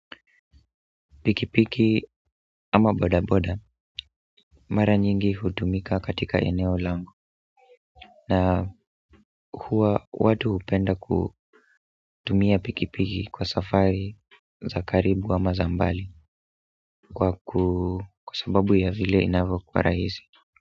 Pikipiki ama boda boda mara nyingi hutumika katika eneo langu na huwa watu upenda kutumia pikipiki kwa safari za karibu ama za mbali kwa sababu ya vile inavyokuwa rahisi.